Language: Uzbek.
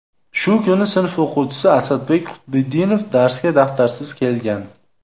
Shu kuni sinf o‘quvchisi Asadbek Qutbiddinov darsga daftarsiz kelgan.